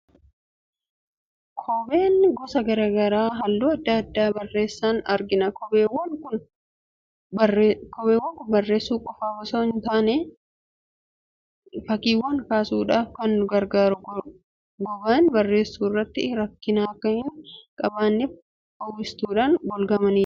Kobbeen gosa garaa garaa halluu adda addaa barreessan argina. Kobbeewwan kun barreessuu qofaaf osoo hin taane, fakkiiwwan kaasuufis ni gargaaru. Goganii barreessuu irratti rakkina akka hin qabaanneef uwwistuudhaan golgamanii jiru.